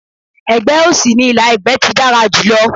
Ẹ̀gbẹ́ òsì ní ìlà ẹ̀gbẹ́ ti dára jùlọ.